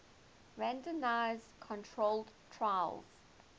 randomized controlled trials